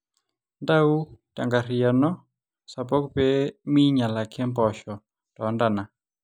ntau tenkarriyiano sapuk pee miinyal ake mpoosho too ntana